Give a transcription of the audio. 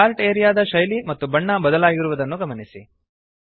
chart area ದ ಶೈಲಿ ಮತ್ತು ಬಣ್ಣ ಬದಲಾಗಿರುವುದನ್ನು ಗಮನಿಸಿ